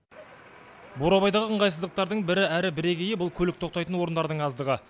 бурабайдағы ыңғайсыздықтардың бірі әрі бірегейі бұл көлік тоқтайтын орындардың аздығы